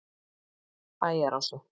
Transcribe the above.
Bæjarási